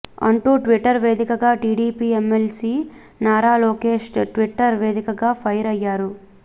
అంటూ ట్విట్టర్ వేదికగా TDP MLC Nara Lokesh Twitter వేదికగా ఫైర్ అయ్యారు